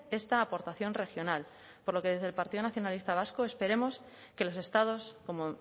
esta aportación regional por lo que desde el partido nacionalista vasco esperemos que los estados como